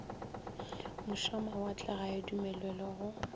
mošamawatle ga ya dumelelwa go